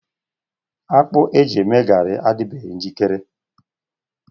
Akpu eji eme garị adịbeghị njikere.